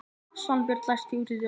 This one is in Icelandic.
Svanbjörg, læstu útidyrunum.